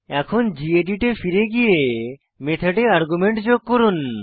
এখন গেদিত এ ফিরে গিয়ে মেথডে আর্গুমেন্ট যোগ করুন